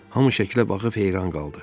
Hamı şəklə baxıb heyran qaldı.